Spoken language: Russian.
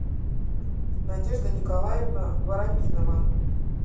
надежда николаевна воропинова